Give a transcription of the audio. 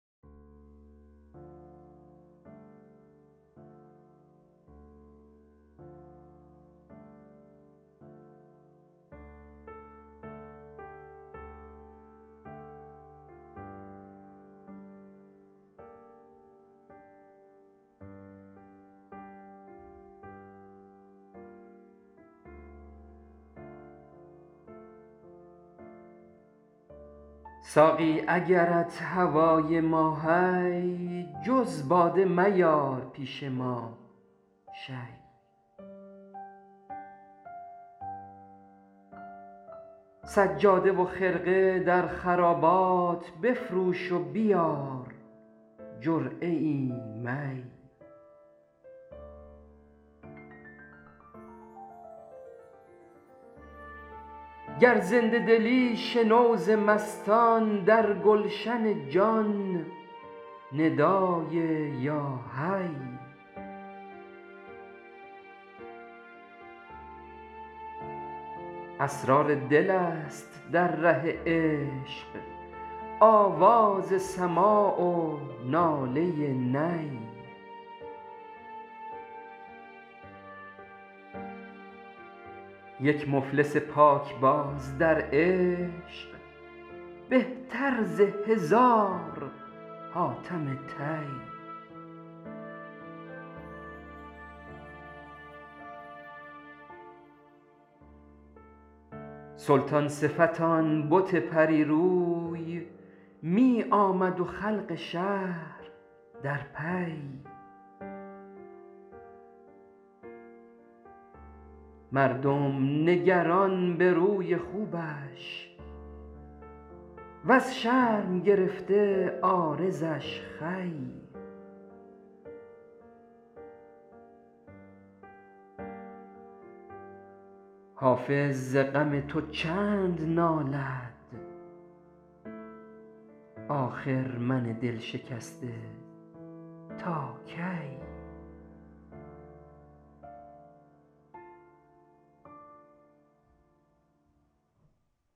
ساقی اگرت هوای ما هی جز باده مباد نزد ما هی سجاده و خرقه در خرابات بفروش و بیار جرعه ای می گر زنده دلی شنو ز مستان در گلشن جان ندای یا حی با درد درآ به بوی درمان کونین نگر ز عشق لاشی اسرار دل است در ره عشق آواز سماع و ناله نی یک مفلس پاک باز در عشق بهتر ز هزار حاتم طی سلطان صفت آن بت پری روی می آمد و خلق شهر در پی مردم نگران به روی خوبش وز شرم گرفته عارضش خوی حافظ ز غم تو چند نالد آخر من دلشکسته تا کی بنشینم و با غم تو سازم جان در سرو کار عشق بازم